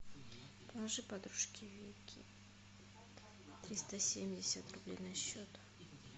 положи подружке вике триста семьдесят рублей на счет